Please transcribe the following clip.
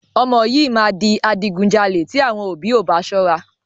Ọmọ yìí máa di adigunjalè tí àwọn ọ̀bí ò bá sọ́ra.